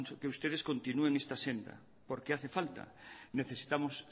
que ustedes continúen esta senda porque hace falta necesitamos